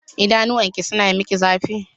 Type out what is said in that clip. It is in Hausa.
Idanuwanki suna miki zafi?